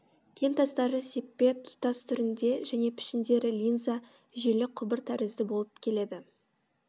кентастары сеппе тұтас түрінде және пішіндері линза желі құбыр тәрізді болып келеді